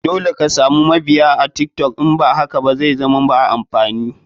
Dole ka samu mabiya a tiktok in ba haka ba zaizama ba amfani.